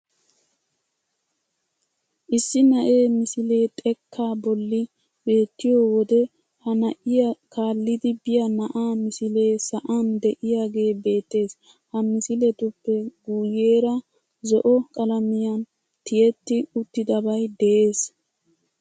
Issi na'ee misile xekkaa bolli beettiyo wode ha na'iyo kaallidi biya na'aa misilee sa'an de'iyagee beettees. Ha misiletuppe guyyeera zo"o qalamiyan tiyetti uttidabay de'ees.